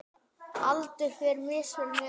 Aldur fer misvel með okkur.